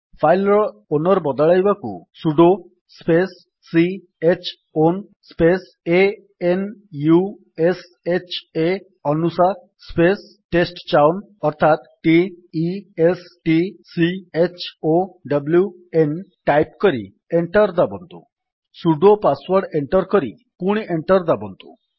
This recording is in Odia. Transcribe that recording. ଫାଇଲ୍ ର ଓନର୍ ବଦଳାଇବାକୁ sudo space c h own space a n u s h ଆ ଅନୁଶା ସ୍ପେସ୍ ଟେଷ୍ଟଚାଉନ୍ ଅର୍ଥାତ୍ t e s t c h o w n type କରି ଏଣ୍ଟର୍ ଦାବନ୍ତୁ ସୁଡୋ ପାଶୱର୍ଡ୍ ଏଣ୍ଟର୍ କରି ପୁଣି ଏଣ୍ଟର୍ ଦାବନ୍ତୁ